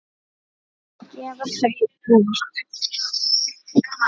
Að gefa þau út!